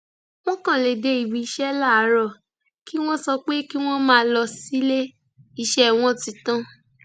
wọn kàn lè dé ibi iṣẹ láàárọ kí wọn sọ pé kí wọn máa lọ sílé iṣẹ wọn ti tán